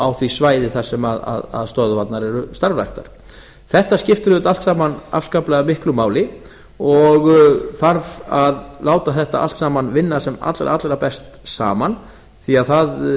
á því svæði þar sem stöðvarnar eru starfræktar þetta skiptir auðvitað allt saman afskaplega miklu máli og þarf að láta þetta allt saman vinna sem allra allra best saman því að það